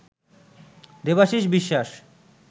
Debashish Biswas